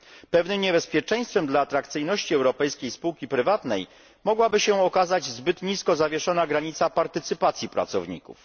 Pewnym niebezpieczeństwem dla atrakcyjności europejskiej spółki prywatnej mogłaby się okazać zbyt nisko zawieszona granica partycypacji pracowników.